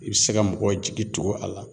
I bi se ka mɔgɔw jigi tugu a la